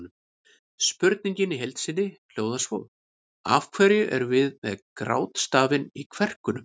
Spurningin í heild sinni hljóðaði svo: Af hverju erum við með grátstafinn í kverkunum?